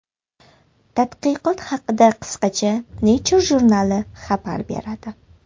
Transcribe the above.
Tadqiqot haqida qisqacha Nature jurnali xabar beradi .